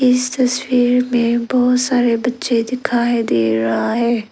इस तस्वीर में बहुत सारे बच्चे दिखाई दे रहा है।